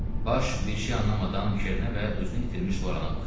Baş bir şey anlamadan Kerə və özünü itirmiş Lorana baxdı.